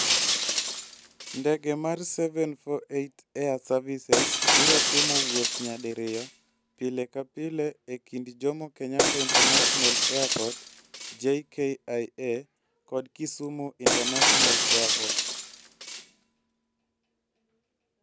Ndege mar 748 Air Services biro timo wuoth nyadiriyo pile ka pile e kind Jomo Kenyatta International Airport (JKIA) kod Kisumu International Airport.